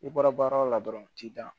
I bɔra baara o la dɔrɔn u t'i dan